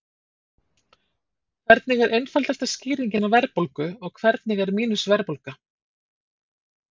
Hvernig er einfaldasta skýringin á verðbólgu og hvernig er mínus-verðbólga?